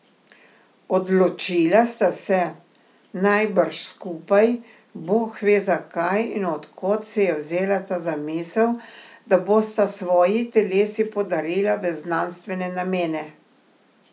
Odločila sta se, najbrž skupaj, bog ve zakaj in od kod se je vzela ta zamisel, da bosta svoji telesi podarila v znanstvene namene.